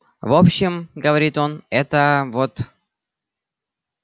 в общем говорит он это вот